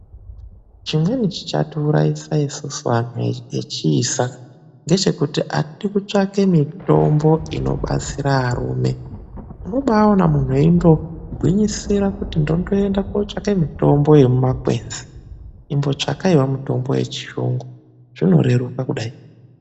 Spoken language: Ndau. Chimweni chiro chichatiurayisa isusu anhu echiisa kusade kutsvake mitombo inobatsire arume .Unobaona munhu eigwinyisira kutsvake mitombo yemumashango ,imbotsvakaiwo mitombo yechiyungu zvinokona kudetsera yaamho.